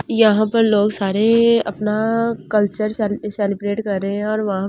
यहां पर लोग सारे अपना कल्चर सेलि सेलिब्रेट कर रहे है और वहां पर ।